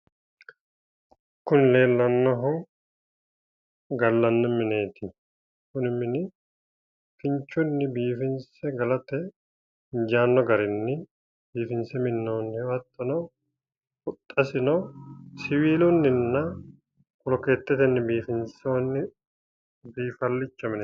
Kuni leellannohu gallanni mineeti kuni mini kinchunni biifinse galate injaanno garinni biifinse minnoonniho hattono huxxasino siwiilunninna bolokeettetenni biifinsonni biifallicho mineèti